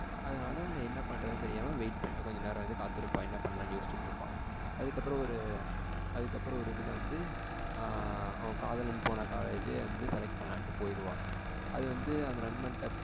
அதனால என்ன பண்றதுன்னு தெரியாம wait கொஞ்ச நேரம் வந்து காத்துட்டு இருப்பா. யோசிட்டு இருப்பா அதுக்கப்புறம் ஒரு அதுக்கப்புறம் ஒரு இதுல வந்து ஆ அவ காதலன் போன college வந்து select பண்ணலாம்னு போயிடுவ. அதுவந்து அந்த நண்பன் கிட்ட